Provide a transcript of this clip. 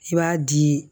I b'a di